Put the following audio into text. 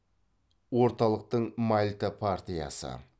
орталықтың мальта партиясы